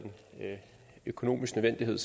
økonomisk nødvendighed